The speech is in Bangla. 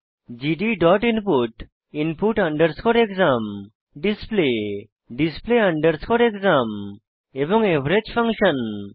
GD dot input input underscore exam display display underscore exam এবং এভারেজ ফাংশন